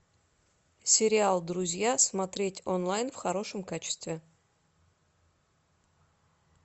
сериал друзья смотреть онлайн в хорошем качестве